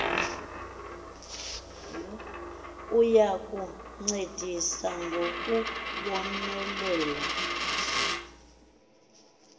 uya kuncedisa ngokubonelela